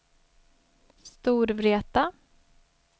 Storvreta